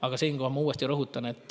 Aga siinkohal ma uuesti rõhutan, et